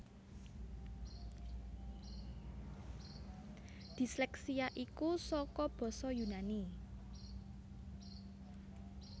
Disleksia iku saka basa Yunani